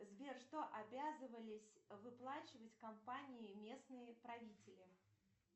сбер что обязывались выплачивать компании местные правители